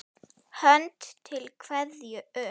Hönd til kveðju upp!